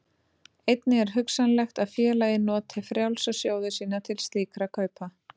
Einnig er hugsanlegt að félagið noti frjálsa sjóði sína til slíkra kaupa.